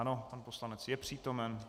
Ano, pan poslanec je přítomen.